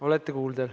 Olete kuuldav.